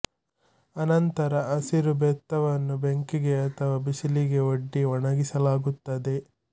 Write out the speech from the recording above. ಅನಂತರ ಹಸಿಯ ಬೆತ್ತವನ್ನು ಬೆಂಕಿಗೆ ಅಥವಾ ಬಿಸಿಲಿಗೆ ಒಡ್ಡಿ ಒಣಗಿಸಲಾಗುತ್ತದೆ